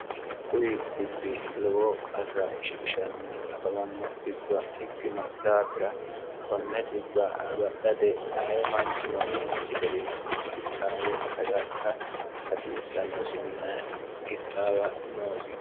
kudi dhibbi lowo qarra ishiishnni afamanno dhibba ekkino daafira konne dhibba agadhate aye manchino umusi garinni ixxaawe agadha hasiissannosinna ixxaawa noosi